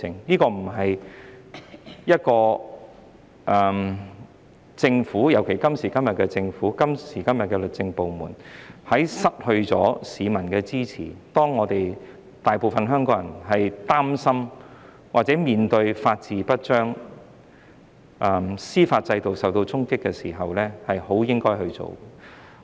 當政府，尤其是今時今日的政府及律政部門失去市民支持，當大部分香港人擔心或面對法治不彰、司法制度受到衝擊時，這些修訂不是很應該去做的。